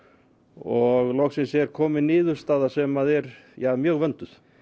og loksins er komin niðurstaða sem er mjög vönduð